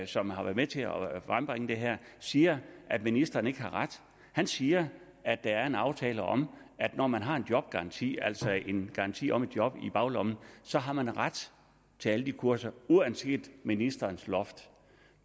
som har været med til at frembringe det her siger at ministeren ikke har ret han siger at der er en aftale om at når man har en jobgaranti altså har en garanti om et job i baglommen så har man ret til alle de kurser uanset ministerens loft